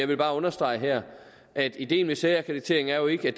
vil bare understrege her at ideen med særakkreditering jo ikke er